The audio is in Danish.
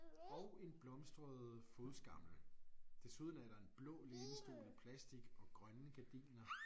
Og en blomstret fodskammel. Desuden er der en blå lænestol i plastic og grønne gardiner